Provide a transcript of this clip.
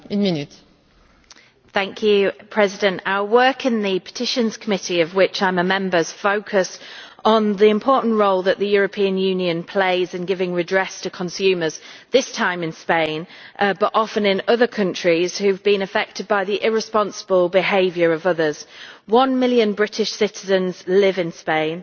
Madam President, our work in the Committee on Petitions, of which I am a member, focuses on the important role that the European Union plays in giving redress to consumers, this time in Spain but often in other countries, who have been affected by the irresponsible behaviour of others. One million British citizens live in Spain